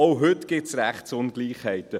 Auch heute gibt es Rechtsungleichheiten.